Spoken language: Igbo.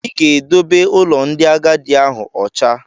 Ị ga-edobe ụlọ ndị agadi ahụ ụcha!